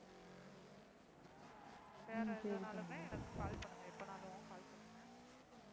வேற எதுனாலுமே எனக்கு call பண்ணுங்க எப்பனாலும் call பண்ணுங்க.